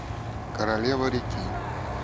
королева реки